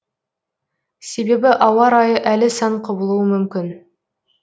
себебі ауа райы әлі сан құбылуы мүмкін